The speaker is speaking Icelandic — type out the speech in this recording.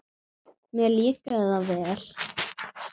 Mér líkaði það vel.